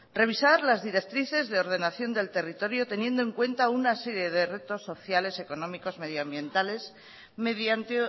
revisar las directrices de ordenación del territorio teniendo en cuenta una serie de retos sociales económicos medio ambientales mediante